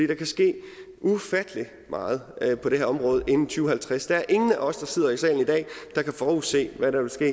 der kan ske ufattelig meget på det her område inden to tusind og halvtreds der er ingen af os der sidder i salen i dag der kan forudse hvad der vil ske